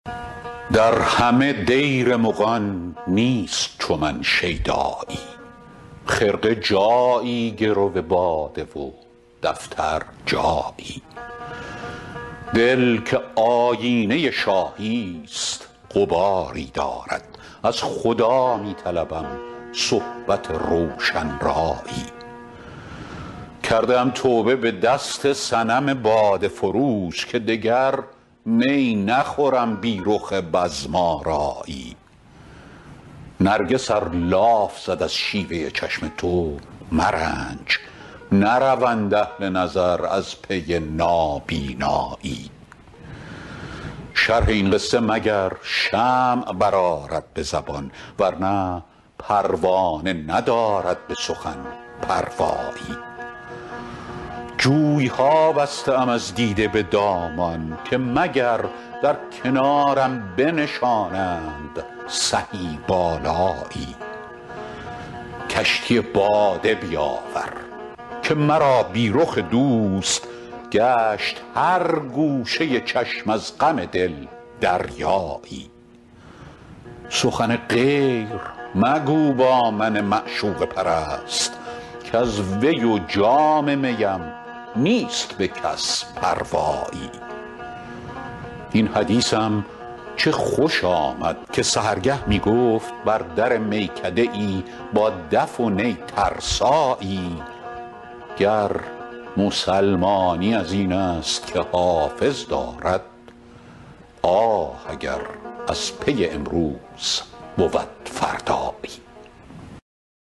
در همه دیر مغان نیست چو من شیدایی خرقه جایی گرو باده و دفتر جایی دل که آیینه شاهی ست غباری دارد از خدا می طلبم صحبت روشن رایی کرده ام توبه به دست صنم باده فروش که دگر می نخورم بی رخ بزم آرایی نرگس ار لاف زد از شیوه چشم تو مرنج نروند اهل نظر از پی نابینایی شرح این قصه مگر شمع برآرد به زبان ورنه پروانه ندارد به سخن پروایی جوی ها بسته ام از دیده به دامان که مگر در کنارم بنشانند سهی بالایی کشتی باده بیاور که مرا بی رخ دوست گشت هر گوشه چشم از غم دل دریایی سخن غیر مگو با من معشوقه پرست کز وی و جام می ام نیست به کس پروایی این حدیثم چه خوش آمد که سحرگه می گفت بر در میکده ای با دف و نی ترسایی گر مسلمانی از این است که حافظ دارد آه اگر از پی امروز بود فردایی